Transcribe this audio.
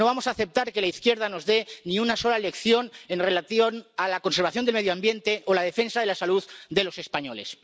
No vamos a aceptar que la izquierda nos dé ni una sola lección en relación con la conservación del medio ambiente o la defensa de la salud de los españoles.